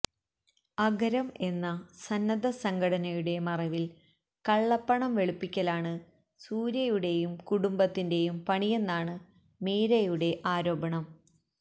അഗരം എന്ന സന്നദ്ധ സംഘടനയുടെ മറവില് കള്ളപ്പണം വെളുപ്പിക്കലാണ് സൂര്യയുടെയും കുടുംബത്തിന്റെയും പണിയെന്നാണ് മീരയുടെ ആരോപണം